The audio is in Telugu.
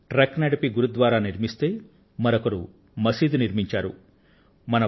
ఒకరు ట్రక్ ను నడిపి గురుద్వారా ను నిర్మిస్తే మరొకరు మసీదు ను నిర్మించారు